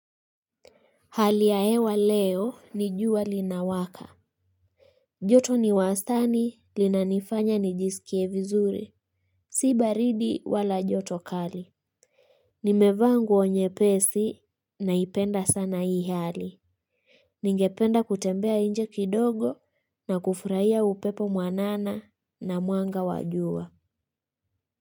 Hali ya hewa leo, ni jua linawaka. Joto ni wastani, linanifanya nijisikie vizuri. Si baridi wala joto kali. Nimekaa nguo nyepesi, naipenda sana hii hali. Ningependa kutembea nje kidogo, na kufurahia upepo mwanana, na mwanga wa jua.